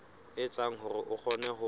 etsa hore o kgone ho